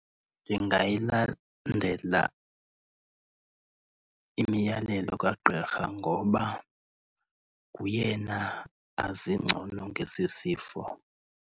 Ndingayilandela imiyalelo kagqirha ngoba nguyena azi ngcono ngesi sifo.